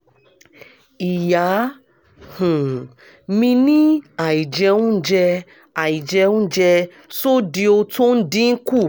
ìyá um mi ní àìjẹunjẹ àìjẹunjẹ́ sódíò tó ń dín kù